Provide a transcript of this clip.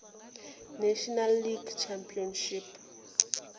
national league championship